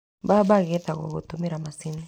Mbamba ĩgethagwo gũtũmĩra macini.